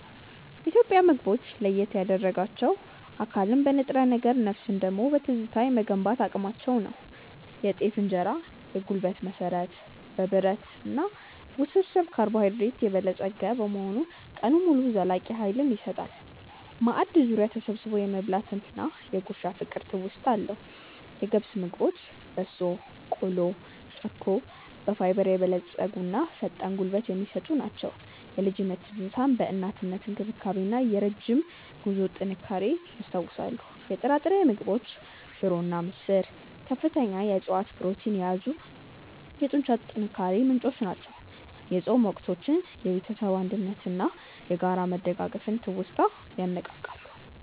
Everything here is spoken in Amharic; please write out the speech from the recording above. ኢትዮጵያን ምግቦች ለየት ያደርጋቸው አካልን በንጥረ ነገር ነፍስን ደግሞ በትዝታ የመገንባት አቅማቸው ነው። የጤፍ እንጀራ (የጉልበት መሠረት)፦ በብረት (Iron) እና ውስብስብ ካርቦሃይድሬት የበለፀገ በመሆኑ ቀኑን ሙሉ ዘላቂ ኃይል ይሰጣል። ማዕድ ዙሪያ ተሰብስቦ የመብላት እና የ"ጉርሻ" ፍቅር ትውስታ አለው። የገብስ ምግቦች (በሶ፣ ቆሎ፣ ጨኮ)፦ በፋይበር የበለፀጉና ፈጣን ጉልበት የሚሰጡ ናቸው። የልጅነት ትዝታን የእናትነት እንክብካቤን እና የረጅም ጉዞ ጥንካሬን ያስታውሳሉ። የጥራጥሬ ምግቦች (ሽሮ እና ምስር)፦ ከፍተኛ የዕፅዋት ፕሮቲን የያዙ የጡንቻ ጥንካሬ ምንጮች ናቸው። የጾም ወቅቶችን የቤተሰብ አንድነትን እና የጋራ መደጋገፍን ትውስታ ያነቃቃሉ።